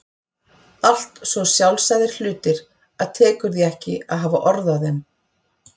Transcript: Allt svo sjálfsagðir hlutir að tekur því ekki að hafa orð á þeim.